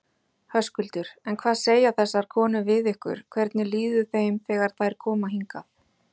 Höskuldur: En hvað segja þessar konur við ykkur, hvernig líður þeim þegar þær koma hingað?